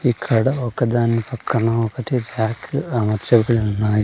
ఇక్కడ ఒకదాని పక్కన ఒకటి ర్యాక్ అమర్చబడి ఉన్నాయి.